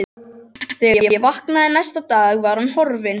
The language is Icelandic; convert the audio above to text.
Þegar ég vaknaði næsta dag var hún horfin.